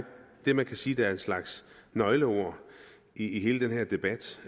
det man kan sige er en slags nøgleord i hele den her debat